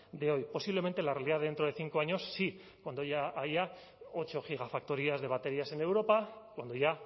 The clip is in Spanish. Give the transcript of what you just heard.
de hoy posiblemente la realidad dentro de cinco años sí cuando ya haya ocho gigafactorías de baterías en europa cuando ya